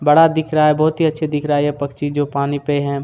बड़ा दिख रहा है बहुत ही अच्छा दिख रहा है जो पक्षी जो पानी पे है।